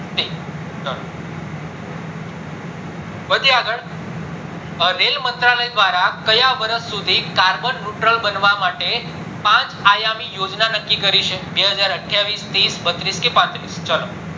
વધીએ આગળ રેલ મંત્ર લય દ્વારા કયા વર્ષ સુધી carbon neutral બનવા માટે પાંચ આયામી યોજના નક્કી કરી છે બે હજાર અઠ્યાવીશ ત્રીસ બત્રીસ કે પાત્રીસ ચલો